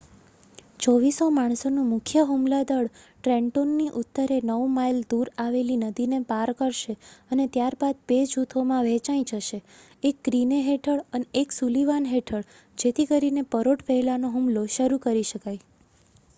2,400 માણસોનું મુખ્ય હુમલા દળ ટ્રેન્ટોનની ઉત્તરે 9 માઈલ દૂર આવેલી નદીને પાર કરશે અને ત્યારબાદ 2 જૂથોમાં વહેંચાઇ જશે એક ગ્રીને હેઠળ અને એક સુલીવાન હેઠળ જેથી કરીને પરોઢ પહેલાનો હુમલો શરુ કરી શકાય